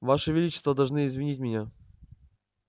ваше величество должны извинить меня